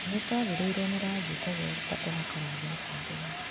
Nĩtwathirĩrwo nĩ rangi kwoguo ruta kuhaka rangi mũbango-inĩ .